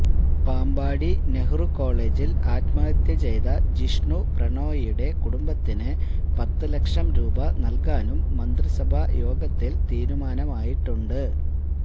പാമ്പാടി നെഹ്റു കോളേജില് ആത്മഹത്യ ചെയ്ത ജിഷ്ണു പ്രണോയിയുടെ കുടുംബത്തിന് പത്തുലക്ഷം രൂപ നല്കുവാനും മന്ത്രിസഭാ യോഗത്തില് തീരുമാനമായിട്ടുണ്ട്